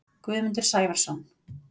Guðmundur Sævarsson